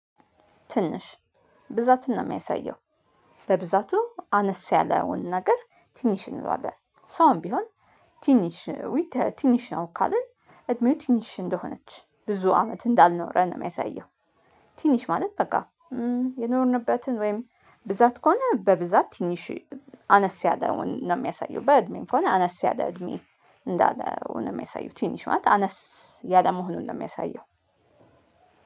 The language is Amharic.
ትንሽ ብዛትን ነው የሚያሳየው። ለብዛቱ አነስ ያለውን ነገር ትንሽ እንለዋለን ሰውም ቢሆን ትንሽ ነው ትንሽ ነው ካለው እድሜው ትንሽ እንደሆነች ብዙ አመት እንዳልኖረን ነው የሚያሳየው። ትንሽ ማለት በቃ የኖርንበትን ወይም ብዛት ከሆነ በብዛት ትንሽ አነስ ያለውን ነው የሚያሳየው። በእድሜም ከሆነ አነስ ያለ እድሜ እንዳለው ነው የሚያሳየው። ትንሽ ማለት አነስ ያለ መሆኑን ነው የሚያሳየው።